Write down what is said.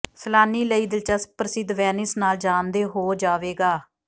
ਸੈਲਾਨੀ ਲਈ ਦਿਲਚਸਪ ਪ੍ਰਸਿੱਧ ਵੇਨਿਸ ਨਾਲ ਜਾਣਦੇ ਹੋ ਜਾਵੇਗਾ